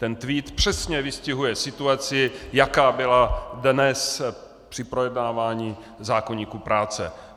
Ten tweet přesně vystihuje situaci, jaká byla dnes při projednávání zákoníku práce.